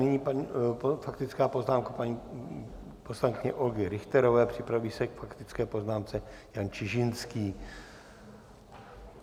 Nyní faktická poznámka paní poslankyně Olgy Richterové, připraví se k faktické poznámce Jan Čižinský.